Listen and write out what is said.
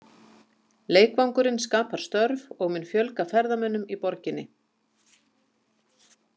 Leikvangurinn skapar störf og mun fjölga ferðamönnum í borginni.